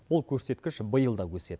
бұл көрсеткіш биыл да өседі